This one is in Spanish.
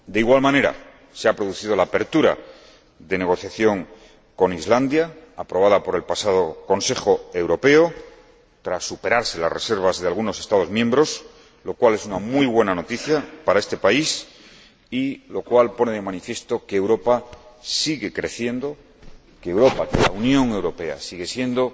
De igual manera, se ha producido la apertura de las negociaciones con Islandia, aprobada por el pasado Consejo Europeo, tras superarse las reservas de algunos Estados miembros, lo cual es una muy buena noticia para este país y pone de manifiesto que Europa sigue creciendo, que la Unión Europea sigue siendo